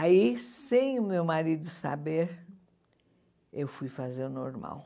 Aí, sem o meu marido saber, eu fui fazer o normal.